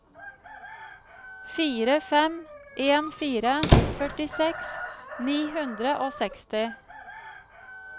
fire fem en fire førtiseks ni hundre og seksti